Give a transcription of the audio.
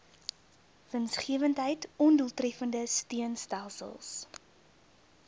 winsgewendheid ondoeltreffende steunstelsels